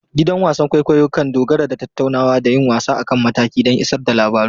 Gidan wasan kwaikwayo kan dogara da tattaunawa da yin wasa a kan mataki don isar da labaru.